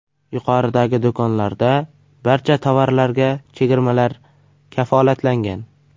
Yuqoridagi do‘konlarda barcha tovarlarga chegirmalar kafolatlangan.